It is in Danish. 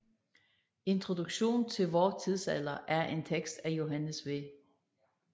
Introduktion til vor Tidsalder er en tekst af Johannes V